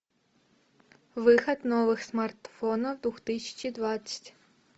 выход новых смартфонов две тысячи двадцать